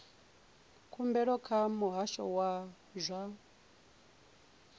khumbelo kha muhasho wa zwa